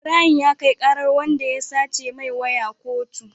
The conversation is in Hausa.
Ibrahim ya kai karar wanda ya sace mai waya kotu